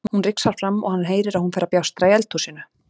Hún rigsar fram og hann heyrir að hún fer að bjástra í eldhúsinu.